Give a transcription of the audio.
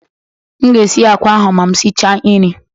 M ga-esi akwa ahụ ma m sichaa nri